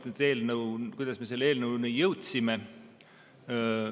Nüüd, eelnõu, kuidas me selleni jõudsime.